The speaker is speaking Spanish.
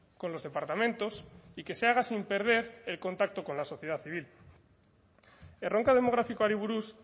con los departamentos y que se haga sin perder el contacto con la sociedad civil erronka demografikoari buruz